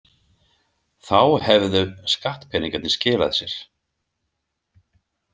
Þá hefðu skattpeningarnir skilað sér.